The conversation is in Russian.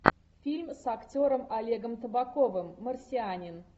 фильм с актером олегом табаковым марсианин